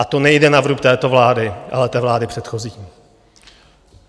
A to nejde na vrub této vlády, ale té vlády předchozí.